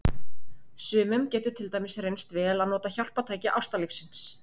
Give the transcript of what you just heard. Sumum getur til dæmis reynst vel að nota hjálpartæki ástarlífsins.